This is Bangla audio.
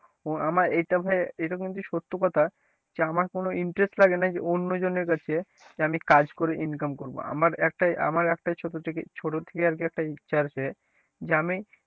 আমার এটা ভাই এটা কিন্তু সত্য কথা যে আমার কোন interest লাগে না যে অন্যজনের কাছে যে আমি কাজ করে income করবো আমার একটাই আমার একটা ছোট থেকে ছোট থেকে আর কি একটা ইচ্ছা আছে যে আমি,